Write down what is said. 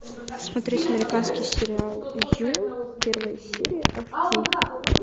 смотреть американский сериал ю первая серия